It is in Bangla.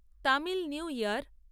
তামিল নিউ ইয়ার